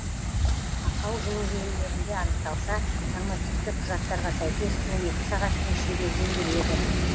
ақау жылу желілерінде анықталса нормативті құжаттарға сәйкес он екі сағаттың ішінде жөнделеді